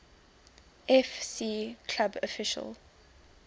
fc club official